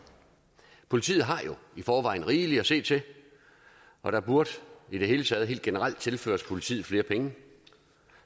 politiet har jo i forvejen rigeligt at se til og der burde i det hele taget helt generelt tilføres politiet flere penge